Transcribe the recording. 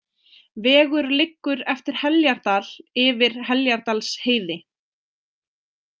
Vegur liggur eftir Heljardal yfir Heljardalsheiði.